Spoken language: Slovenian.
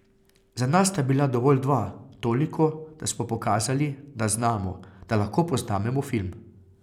Za nas sta bila dovolj dva, toliko, da smo pokazali, da znamo, da lahko posnamemo film.